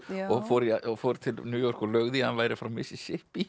og fór og fór til New York og laug því að hann væri frá Mississippi